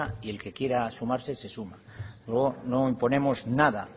y el que quiere sumarse se suma luego no imponemos nada